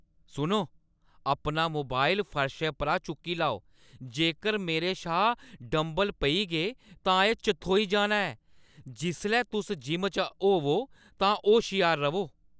सुनो, अपना मोबाइल फर्शै परा चुक्की लैओ, जेकर मेरे शा डंबल पेई गे तां एह् चथोई जाना ऐ, जिसलै तुस जिम च होवो तां होश्यार र'वो।